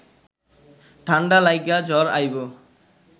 ঠাণ্ডা লাইগা জ্বর আইব